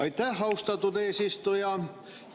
Aitäh, austatud eesistuja!